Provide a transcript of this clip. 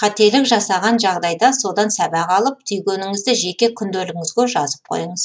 қателік жасаған жағдайда содан сабақ алып түйгеніңізді жеке күнделігіңізге жазып қойыңыз